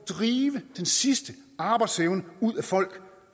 drive den sidste arbejdsevne ud af folk